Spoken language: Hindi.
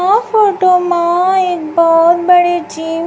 फोटो मां एक बहुत बड़े जिम --